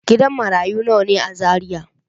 Gidan marayu nawa ne a Zariya?